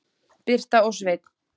Birta og Sveinn.